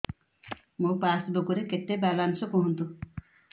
ମୋ ପାସବୁକ୍ ରେ କେତେ ବାଲାନ୍ସ କୁହନ୍ତୁ